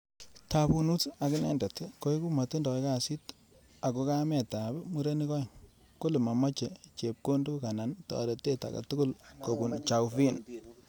Ttabunut ak inendet koeku matindoi kasit ako kamet ap murenik aeng , kole mameche chepkondo anan taretet agei tugul kopun Chauvin.